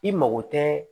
I mago tɛ